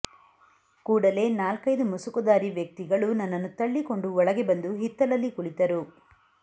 ಕೂಡಲೇ ನಾಲ್ಕೈದು ಮುಸುಗುಧಾರಿ ವ್ಯಕ್ತಿಗಳು ನನ್ನನ್ನು ತಳ್ಳಿಕೊಂಡು ಒಳಗೆ ಬಂದು ಹಿತ್ತಲಲ್ಲಿ ಕುಳಿತರು